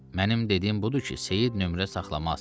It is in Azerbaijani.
Mənim dediyim budur ki, Seyid nömrə saxlamaz.